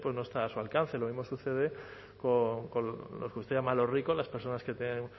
pues no está a su alcance lo mismo sucede con los que usted llama los ricos las personas que tienen